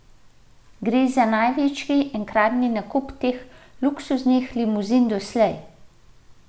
Gre za največji enkratni nakup teh luksuznih limuzin doslej.